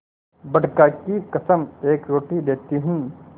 बड़का की कसम एक रोटी देती हूँ